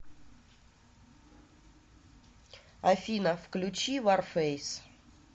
афина включи варфэйс